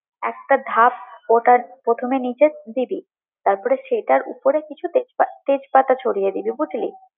একটা ধাপ ওটার প্রথমে নিচে দিবি, তারপরে ওটার উপরে কিছু তেজপাতা ছড়িয়ে দিবি বুঝলি?